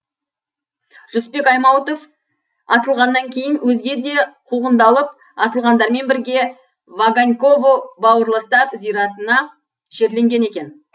жүсіпбек аймауытов атылғаннан кейін өзге де қуғындалып атылғандармен бірге ваганьково бауырластар зиратына жерленген екен